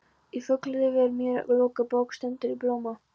Fuglalífið sem er mér lokuð bók stendur í blóma.